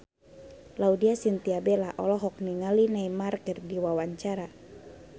Laudya Chintya Bella olohok ningali Neymar keur diwawancara